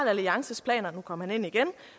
alliances planer nu kom han ind igen